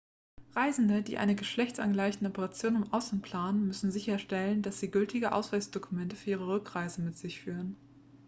reisende die eine geschlechtsangleichende operation im ausland planen müssen sicherstellen dass sie gültige ausweisdokumente für die rückreise mit sich führen